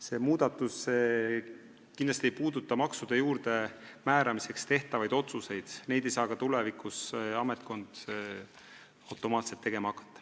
See muudatus ei puuduta kindlasti maksude juurdemääramiseks tehtavaid otsuseid, neid ei saa ametkond ka tulevikus automaatselt tegema hakata.